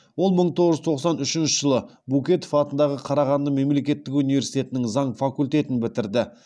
ол мың тоғыз жүз тоқсан үшінші жылы букетов атындағы қарағанды мемлекеттік университетінің заң факультетін бітірді